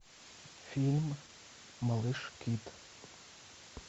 фильм малыш кит